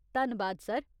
धन्नबाद सर।